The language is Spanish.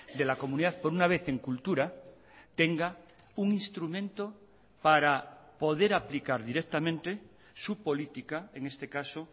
de la comunidad por una vez en cultura tenga un instrumento para poder aplicar directamente su política en este caso